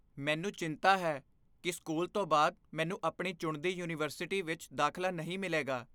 ਮੈਨੂੰ ਚਿੰਤਾ ਹੈ ਕਿ ਸਕੂਲ ਤੋਂ ਬਾਅਦ ਮੈਨੂੰ ਆਪਣੀ ਚੁਣਦੀ ਯੂਨੀਵਰਸਿਟੀ ਵਿੱਚ ਦਾਖਲਾ ਨਹੀਂ ਮਿਲੇਗਾ।